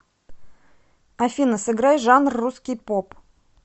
афина сыграй жанр русский поп